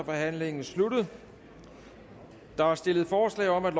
forhandlingen sluttet der er stillet forslag om at